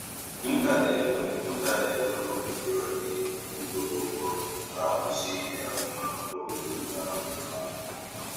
M ka na-enwe M ka na-enwe mgbagwojuanya n'etiti ịkwụnwu ụgwọ na nkwụsị ike agụmakwụkwọ mgbe m na-ahọrọ ụlọakwụkwọ.